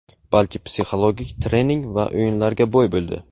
balki psixologik trening va o‘yinlarga boy bo‘ldi.